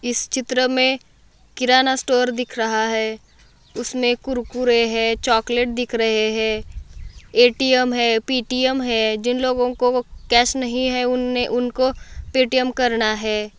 इस चित्र मे किराना स्टोर दिख रहा है उस में कुरकुरे है चॉकलेट दिख रहे है ए.टी.एम. है पे टी एम है जिन लोगों को वो कॅश नहीं है उन्होंने उनको पे टी एम करना है।